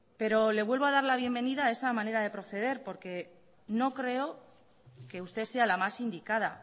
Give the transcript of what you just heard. pero le vuelvo a dar la bienvenida a esa manera de proceder porque no creo que usted sea la más indicada